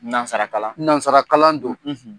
Nansarakakalalan nansarakakalalan don